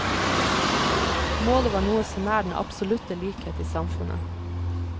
Målet var noe så nær den absolutte likhet i samfunnet.